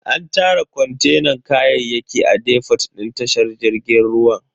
An tara kontenan kayayyaki a defot din tashar jirgin ruwan.